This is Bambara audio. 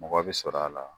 Mɔgɔ bɛ sɔrɔ a la